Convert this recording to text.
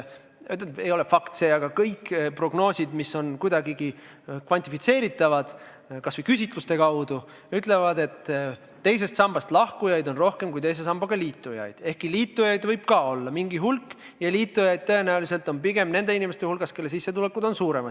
No see ei ole päris fakt, aga kõik prognoosid, mis on kuidagigi kvantifitseeritavad – kas või küsitluste kaudu –, ütlevad, et teisest sambast lahkujaid on rohkem kui teise sambaga liitujaid, ehkki ka liitujaid võib olla mingi hulk ja liitujaid on tõenäoliselt pigem nende inimeste hulgas, kelle sissetulek on suurem.